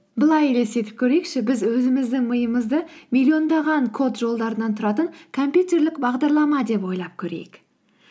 былай елестетіп көрейікші біз өзіміздің миымызды миллиондаған код жолдарынан тұратын компьютерлік бағдарлама деп ойлап көрейік